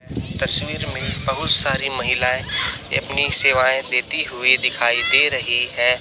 तस्वीर में बहुत सारी महिलाएं अपनी सेवाएं देती हुई दिखाई दे रही है।